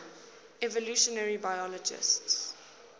evolutionary biologists